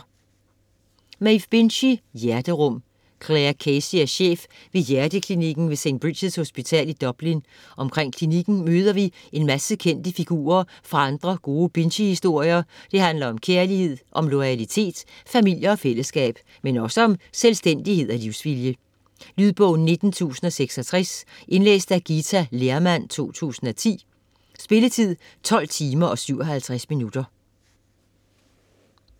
Binchy, Maeve: Hjerterum Clare Casey er chef ved hjerteklinikken ved St. Bridgets hospital i Dublin, omkring klinikken møder vi en masse kendte figurer fra andre gode Binchy-historier, det handler om kærlighed, om loyalitet, familier og fællesskab. Men også om selvstændighed og livsvilje. Lydbog 19066 Indlæst af Githa Lehrmann, 2010. Spilletid: 12 timer, 57 minutter.